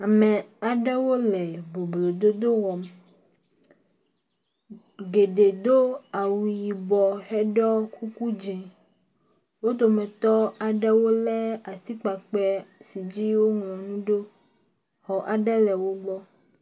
Ame aɖewo le boblo dodo wɔm. Geɖe do awu yibɔ heɖɔ kuku dzi. Wo dometɔ aɖewo le atikpakpe aɖe si dzi woŋlɔ nu ɖo. Xɔ aɖe le wo gbɔ.